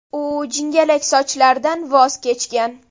U jingalak sochlaridan voz kechgan.